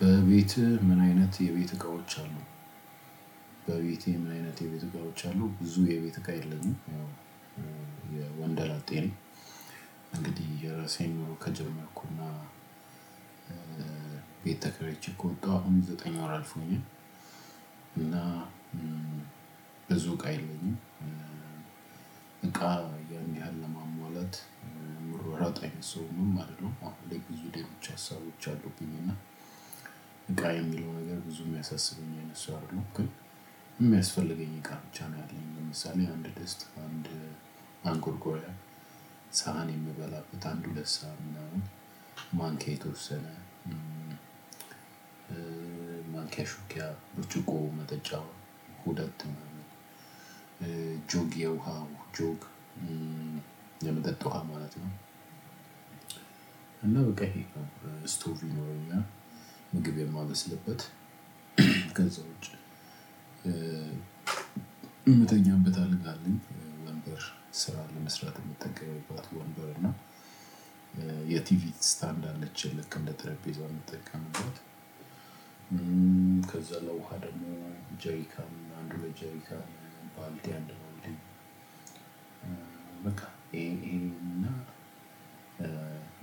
በቤትህ ምን አይነት የቤት እቃዎች አሉ? በቤቴ ምን አይነት የቤት እቃዎች አሉ ብዙ የቤት እቃ የለኝም። ያው የወንደላጤ ነው። እንግዲህ የራሴን ኑሮ ከጀመርኩና ቤት ተከራይቼ ከወጣሁ አሁን ዘጠኝ ወር አልፎኛል። ብዙ እቃ የለኝ እቃ ያን ያህል ለማሟላት ምሯሯጥ አይነት ሰውም አይደለሁሉም። አሁን ላይ ብዙ ደግሞ ብቻ ሀሳቦች አሉብኝ እና። እቃ የሚለው ነገር ብዙ የሚያሳስበ ኝ አይነት አይደለሁም ግን የሚያስፈልገኝ እቃ ብቻ ነው። ያለኝ ለምሳሌ አንድ ደስታ አንድ ማንቆርቆሪያ ሳህን የምበላበት አንድ ሁለት ሳህን ምናምን ማንኪያ የተወሰነ ማንኪያ ሹኪያ ብርጭቆ መጠጫ ሁለት ጁግ የውሃው ጁግ የመጠጥ ውሃ ማለት ነው። እና በቃ ይሄ ስቶቭ ይኖረኛል ምግብ የማበስልበት ከዛ ውጪ። የምተኛበት አልጋ አለ ወንበር ስራ ለመስራት የምትጠቀምበት ወንበር የቲቪ ስታንድ አለች ልክ እንደጠሪጴዛ የምጠቀምበት። ከዛ ለውሃ ደግሞ ጄሪካም አንድ ሁለት ጀሪካ ባልዲ አንድ ባልዲ። በቃ ይሄን ይሄን እና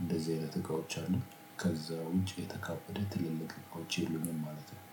እንደዚህ አይነት እቃዎች አሉ። ከዛ ውጪ የተካበደ ትልልቅ እቃወች የሉኝም ማለት ነው።